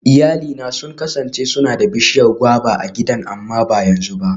Iyalina sun kasance suna da bishiyar guava a gidan amma ba yanzu ba.